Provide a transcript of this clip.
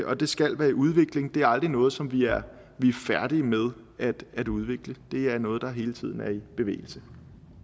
og det skal være i udvikling det er aldrig noget som vi er færdig med at udvikle det er noget der hele tiden er i bevægelse